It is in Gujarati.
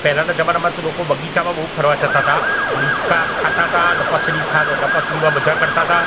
પહેલાના જમાનામાં તો લોકો બગીચામાં બઉ ફરવા જતાતા અને હિંચકા ખાતાતા લપસરી ખા લપસરીમા મજા કરતાતા.